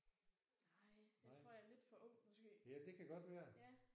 Nej jeg tror jeg er lidt ofr ung måske